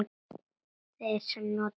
Þeirra sem nota bindi?